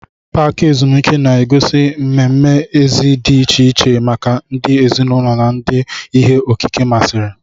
Paaki ezumike na-egosi mmemme èzí dị iche iche maka ndị ezinụlọ na ndị ihe okike masịrị.